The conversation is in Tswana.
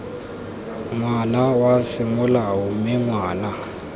ngwana wa semolao mme ngwana